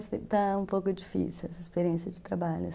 Então, está um pouco difícil essa experiência de trabalho.